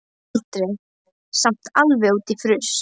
Aldrei samt alveg út í fruss.